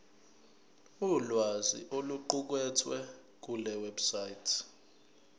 ulwazi oluqukethwe kulewebsite